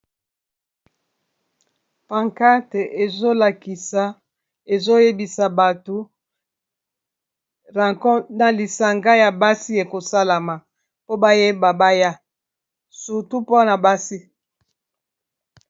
Pancrate ezolakisa ezoyebisa bato ranko na lisanga ya basi ekosalama po bayeba baya sutu mpona basi.